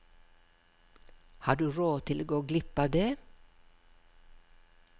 Har du råd til å gå glipp av det?